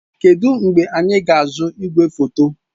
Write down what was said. Kedụ mgbe anyị ga-azụta igwefoto?